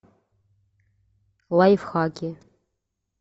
лайфхаки